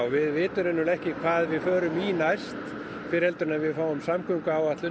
við vitum ekki hvað við förum í næst fyrr en við fáum samgönguáætlun